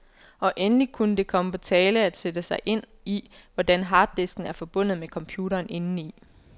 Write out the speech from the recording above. Og endelig kunne det komme på tale at sætte sig ind i, hvordan harddisken er forbundet med computeren indeni.